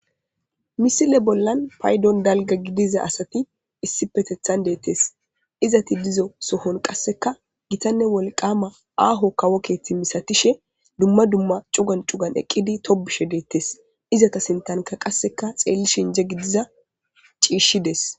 Misile bollan paydon dalga gidiza asati issipetethan deettes izati dizo sohon qasseka gitanne wolqama aaho kawo keethi misatishe dumma dumma cugan cugan eqqidi tobushe deettes izata sintanka qasseka xeelli shin inje gidiza ciishshides.